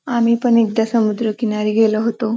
आम्ही पण एकदा समुद्रकिनारी गेलो होतो.